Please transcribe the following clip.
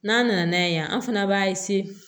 N'an nana n'a ye yan an fana b'a